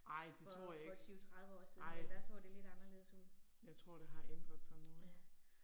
For for 20 30 år siden men der så det lidt anderledes ud. Ja